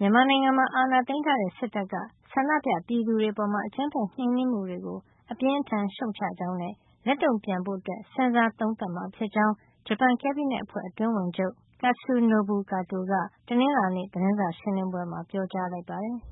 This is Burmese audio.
မြန်မာနိုင်ငံမှာ အာဏာသိမ်းထားတဲ့ စစ်တပ်က ဆန္ဒပြပြည်သူတွေ အပေါ် အကြမ်းဖက်နှိမ်နင်းမှုတွေကို အပြင်းအထန်ရှုတ်ချကြောင်းနဲ့ လက်တုန့်ပြန် ဖို့ စဉ်းစားသုံးသပ်မှာ ဖြစ်ကြောင်း ဂျပန် ကက်ဘိနက်အဖွဲ့ အတွင်းဝန်ချုပ် Katsunobu Kato က တနင်္လာနေ့ သတင်းစာရှင်းလင်းပွဲမှာ ပြောကြားလိုက်ပါတယ်။